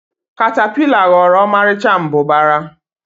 katapila ghọrọ ọmarịcha mbụbara.